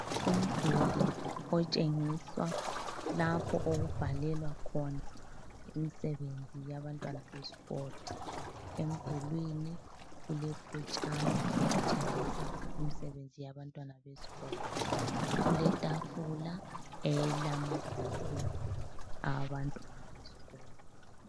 Umduli otshengiswa lapho okubhalelwa khona imisebenzi yabantwana besikolo. Emdulwini kulephetshana elitshengisa imisebenzi yabantwana besikolo. Kuletafula elamabhuku awabantwana besikolo.